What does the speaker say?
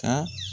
Ka